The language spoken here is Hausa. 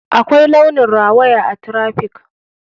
Akwai launin rawaya a traffic.